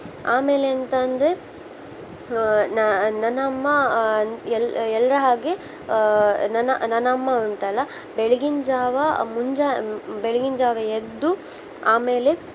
ಆಮೇಲೆ ಎಂತ ಅಂದ್ರೆ ಆ ನ ನನ್ನಮ್ಮ ಆ ಎಲ್ಲ~ಎಲ್ರ ಹಾಗೆ ಆ ನನ್ನ ನನ್ನಮ್ಮ ಉಂಟಲ್ಲಾ ಬೆಳಗಿನ್ ಜಾವಾ ಮುಂಜಾ~ ಆ ಬೆಳಗಿನ ಜಾವಾ ಎದ್ದು ಆಮೇಲೆ